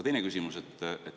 Teine küsimus.